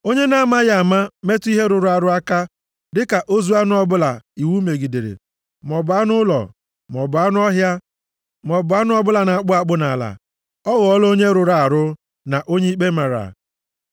“ ‘Onye na-amaghị ama metụ ihe rụrụ arụ aka, dịka ozu anụ ọbụla iwu megidere, maọbụ anụ ụlọ, maọbụ anụ ọhịa, maọbụ anụ ọbụla na-akpụ akpụ nʼala. Ọ ghọọla onye rụrụ arụ, na onye ikpe mara.